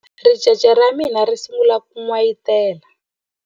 Ricece ra mina ri sungule ku n'wayitela.